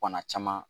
Bana caman